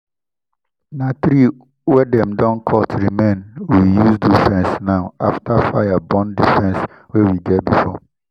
na tree wey dem don cut remain we use do fence now after fire burn the fence wey we get before.